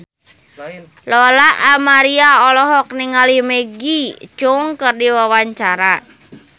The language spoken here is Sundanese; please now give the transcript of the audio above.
Lola Amaria olohok ningali Maggie Cheung keur diwawancara